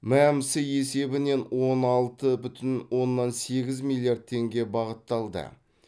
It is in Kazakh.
мәмсі есебінен он алты бүтін оннан сегіз миллиард теңге бағытталды